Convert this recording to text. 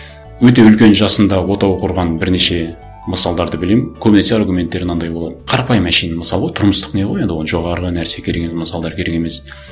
өте үлкен жасында отау құрған бірнеше мысалдарды білемін көбінесе аргументтері мынандай болады қарапайым әншейін мысал ғой тұрмыстық не ғой енді оған жоғарғы нәрсе керек мысалдар керек емес